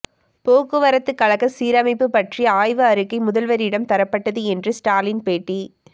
போக்குவரத்துக்கழக சீரமைப்பு பற்றிய ஆய்வு அறிக்கை முதல்வரிடம் தரப்பட்டது என்று ஸ்டாலின் பேட்டி